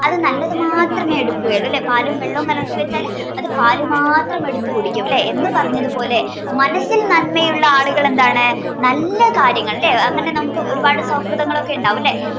അത് നല്ലത് മാത്രമേ എടുക്കൂ അല്ലെ പാലും വെള്ളവും കലർത്തി വെച്ചാല് അത് പാല് മാത്രം എടുത്ത് കുടിക്കും അല്ലെ എന്ന് പറഞ്ഞത് പോലെ മനസ്സിൽ നന്മയുള്ള ആളുകളെന്താണ് നല്ല കാര്യങ്ങൾ ലെ അങ്ങനെ നമുക്ക് ഒരുപാട് സൗഹൃദങ്ങൾ ഒക്കെ ഉണ്ടാവും അല്ലെ